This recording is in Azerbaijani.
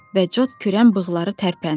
Və cod kürən bığları tərpəndi.